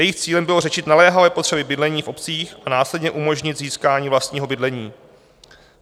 Jejich cílem bylo řešit naléhavé potřeby bydlení v obcích a následně umožnit získání vlastního bydlení.